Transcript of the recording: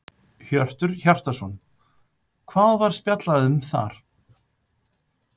Hjörtur Hjartarson: Hvað var spjallað um þar?